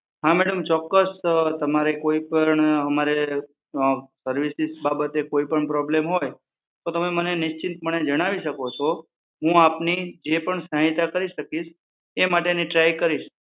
હા મેડમ ચોક્કસ તમારે કોઈપણ અમારે અં સર્વિસીસ બાબતે કોઈપણ પ્રોબ્લમ હોય તો તમે મને નિશ્ચિંતપણે જણાવી શકો છો, હું આપની જે પણ સહાયતા કરી શકીશ એ માટેની ટ્રાય કરીશ.